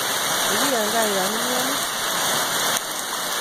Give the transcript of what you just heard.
Tebi eng kaa yaimnyoni.